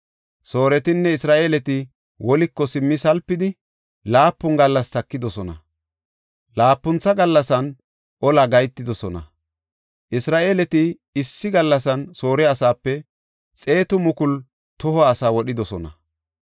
Sooretinne Isra7eeleti woliko simmi salpidi, laapun gallas takidosona. Laapuntha gallasan ola gahetidosona. Isra7eeleti issi gallasan Soore asaape 100,000 toho asaa wodhidosona.